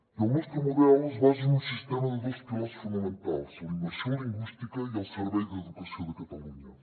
i el nostre model es basa en un sistema de dos pilars fonamentals la immersió lingüística i el servei d’educació de catalunya